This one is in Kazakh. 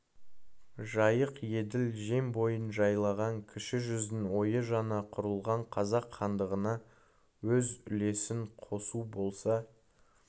жайық еділ жем бойын жайлаған кіші жүздің ойы жаңа құрылған қазақ хандығына өз үлесін қосу болса